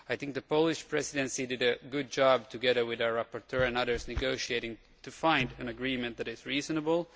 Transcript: The Polish Presidency has done a good job, together with our rapporteur and others, in negotiating to find an agreement that is reasonable.